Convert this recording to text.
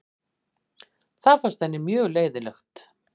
Það fannst henni mjög leiðinlegt.